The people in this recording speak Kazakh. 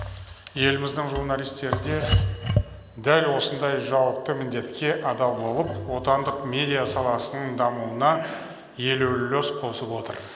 еліміздің журналистері де дәл осындай жауапты міндетке адал болып отандық медиа саласының дамуына елеулі үлес қосып отыр